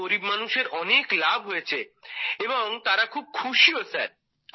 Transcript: এতে গরিব মানুষের অনেক লাভ হয়েছে এবং তারা খুব খুশিও স্যার